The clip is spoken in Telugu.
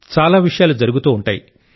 చాలా విషయాలు జరుగుతూ ఉంటాయి